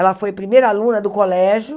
Ela foi primeira aluna do colégio,